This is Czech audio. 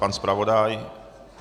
Pan zpravodaj?